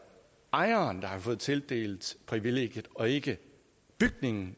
ejeren der har fået tildelt privilegiet og ikke bygningen